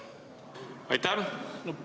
Aitäh!